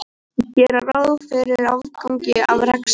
Gera ráð fyrir afgangi af rekstri